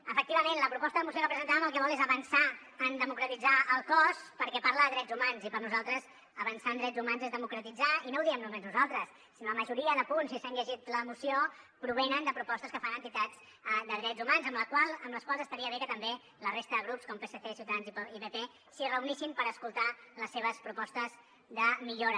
efectivament la proposta de moció que presentàvem el que vol és avançar en democratitzar el cos perquè parla de drets humans i per a nosaltres avançar en drets humans és democratitzar i no ho diem només nosaltres sinó que la majoria de punts si s’han llegit la moció provenen de propostes que fan entitats de drets humans amb les quals estaria bé que també la resta de grups com psc ciutadans i pp s’hi reunissin per escoltar les seves propostes de millora